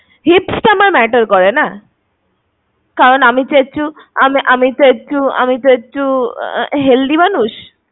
Hips টা আমার matter করে না? কারণ আমি তো একটু~আমি~আমি তো একটু~আমি তো একটু healthy মানুষ